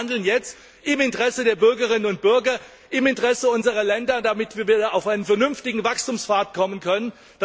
Sie müssen handeln, jetzt, im Interesse der Bürgerinnen und Bürger, im Interesse unserer Länder, damit wir wieder auf einen vernünftigen Wachstumspfad kommen können!